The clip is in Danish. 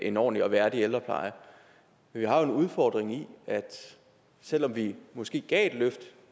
en ordentlig og værdig ældrepleje vi har jo en udfordring i at selv om vi måske gav et løft